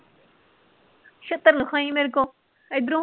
ਛਿੱਤਰ ਨਾ ਖਾਈਂ ਮੇਰੇ ਕੋਲੋਂ ਏਧਰੋਂ